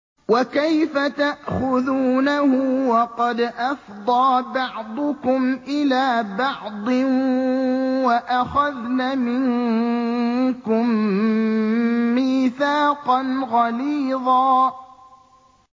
وَكَيْفَ تَأْخُذُونَهُ وَقَدْ أَفْضَىٰ بَعْضُكُمْ إِلَىٰ بَعْضٍ وَأَخَذْنَ مِنكُم مِّيثَاقًا غَلِيظًا